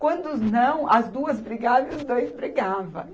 Quando não, as duas brigavam e os dois brigavam.